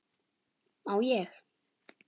má ég!